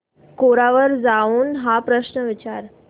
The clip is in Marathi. कोरा वर जाऊन हा प्रश्न विचार